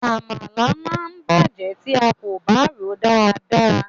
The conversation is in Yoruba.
Àmàlà ma bàjẹ́ tí a kò bá ròó dada.